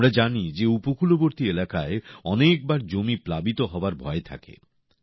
আমরা জানি যে উপকূলবর্তী এলাকায় অনেকবার জমি প্লাবিত হওয়ার ভয় থাকে